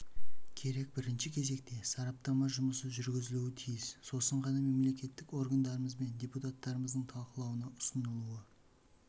керек бірінші кезекте сараптама жұмысы жүргізілуі тиіс сосын ғана мемлекеттік органдарымыз бен депутаттарымыздың талқылауына ұсынылуы